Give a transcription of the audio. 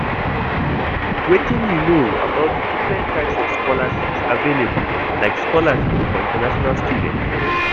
Wetin you know about di different types of scholarships available, like scholarships for international students?